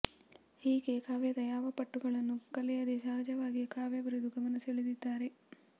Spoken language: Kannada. ಹೀಗೆ ಕಾವ್ಯದ ಯಾವ ಪಟ್ಟುಗಳನ್ನು ಕಲಿಯದೆ ಸಹಜವಾಗಿ ಕಾವ್ಯ ಬರೆದು ಗಮನಸೆಳೆದಿದ್ದಾರೆ